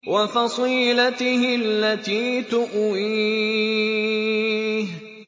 وَفَصِيلَتِهِ الَّتِي تُؤْوِيهِ